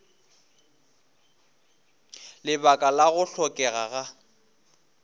lebaka la go hlokega ga